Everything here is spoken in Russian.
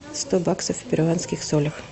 сто баксов в перуанских солях